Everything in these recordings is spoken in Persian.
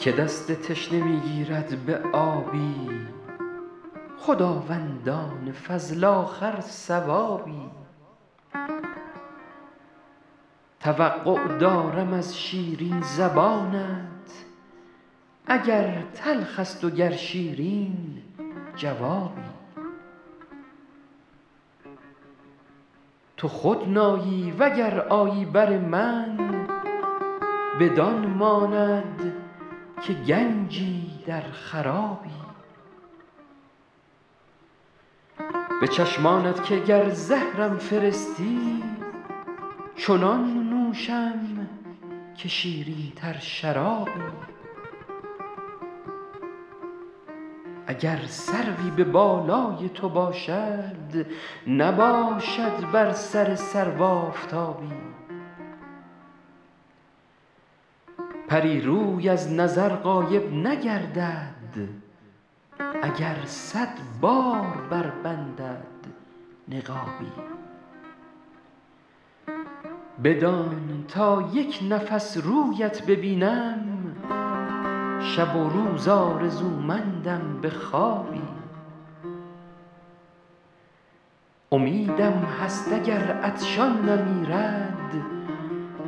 که دست تشنه می گیرد به آبی خداوندان فضل آخر ثوابی توقع دارم از شیرین زبانت اگر تلخ است و گر شیرین جوابی تو خود نایی و گر آیی بر من بدان ماند که گنجی در خرابی به چشمانت که گر زهرم فرستی چنان نوشم که شیرین تر شرابی اگر سروی به بالای تو باشد نباشد بر سر سرو آفتابی پری روی از نظر غایب نگردد اگر صد بار بربندد نقابی بدان تا یک نفس رویت ببینم شب و روز آرزومندم به خوابی امیدم هست اگر عطشان نمیرد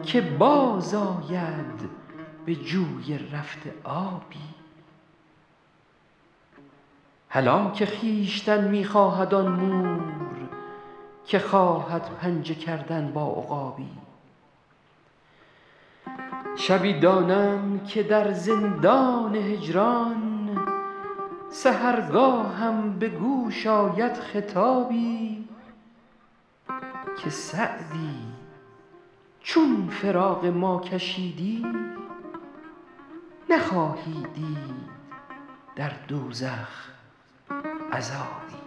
که باز آید به جوی رفته آبی هلاک خویشتن می خواهد آن مور که خواهد پنجه کردن با عقابی شبی دانم که در زندان هجران سحرگاهم به گوش آید خطابی که سعدی چون فراق ما کشیدی نخواهی دید در دوزخ عذابی